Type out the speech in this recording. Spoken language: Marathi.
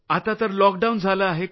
आता तर लॉकडाऊन झालं आहे